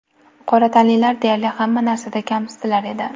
Qora tanlilar deyarli hamma narsada kamsitilar edi.